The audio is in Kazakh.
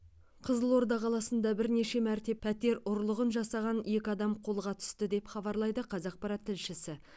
қызылорда қаласында бірнеше мәрте пәтер ұрлығын жасаған екі адам қолға түсті деп хабарлайды қазақпарат тілшісі